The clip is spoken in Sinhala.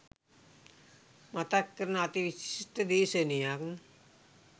මතක් කරන අති විශිෂ්ඨ දේශනයක්.